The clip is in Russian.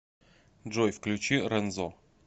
джой включи рэнзо